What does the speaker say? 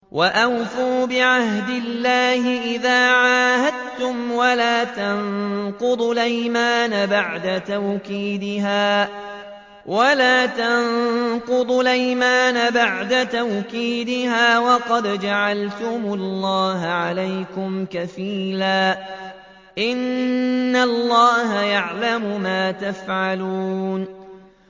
وَأَوْفُوا بِعَهْدِ اللَّهِ إِذَا عَاهَدتُّمْ وَلَا تَنقُضُوا الْأَيْمَانَ بَعْدَ تَوْكِيدِهَا وَقَدْ جَعَلْتُمُ اللَّهَ عَلَيْكُمْ كَفِيلًا ۚ إِنَّ اللَّهَ يَعْلَمُ مَا تَفْعَلُونَ